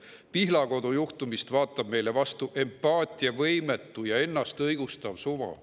Pihlakodu juhtumist vaatab meile vastu empaatiavõimetu ja ennastõigustav suva.